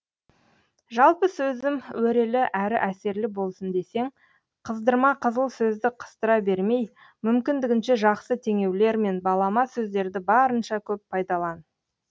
жалпы сөзім өрелі әрі әсерлі болсын десең қыздырма қызыл сөзді қыстыра бермей мүмкіндігінше жақсы теңеулер мен балама сөздерді барынша көп пайдалан